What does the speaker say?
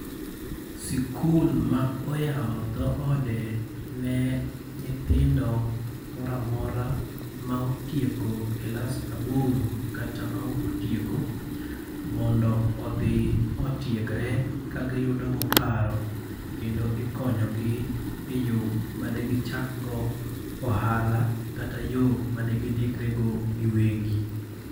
Sikul ma oyawo dho ode ne nyithindo moramora ma otieko klas aboro kata ma ok otieko. Mondo odhi otiegre ka giyudo go paro kendo ikonyo gi e yo made gichakgo ohala, kata yo ma de gidikre go giwegi.